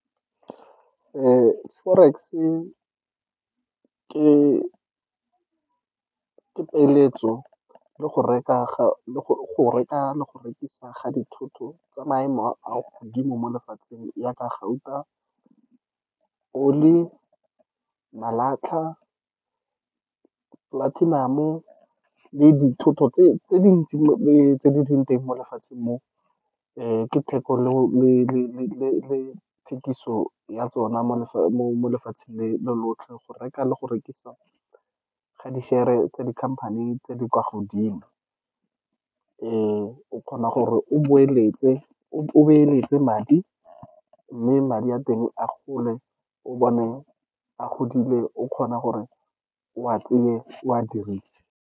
Forex-e ke peeletso le go reka ga, le go reka le go rekisa ga dithoto tsa maemo a kwa godimo mo lefatsheng, yaaka gauta, oli, malatlha, platinum-o, le dithoto tse dintsi le tse di leng teng mo lefatsheng mo ke thekolo le thekiso ya tsona mo lefatsheng le lotlhe, go reka le go rekisa ga di-share-re tsa dikhamphani tse di kwa godimo. O kgona gore o boeletse, o beeletse madi, mme madi a teng a gole, o bone a godile, o kgona gore o a o a dirise.